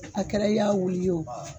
A kɛra i y'a wuli ye wo